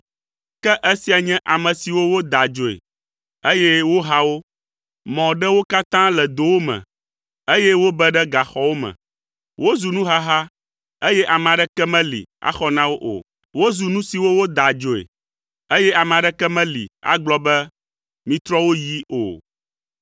Ke esia nye ame siwo woda adzoe, eye woha wo; mɔ ɖe wo katã le dowo me, eye wobe ɖe gaxɔwo me. Wozu nuhaha, eye ame aɖeke meli axɔ na wo o. Wozu nu siwo woda adzoe, eye ame aɖeke meli agblɔ be, “Mitrɔ wo yii o.”